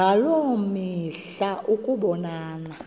ngaloo mihla ukubonana